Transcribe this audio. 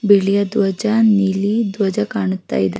ಬಿಳಿಯ ಧ್ವಜ ನೀಲಿ ಧ್ವಜ ಕಾಣುತ ಇದೆ --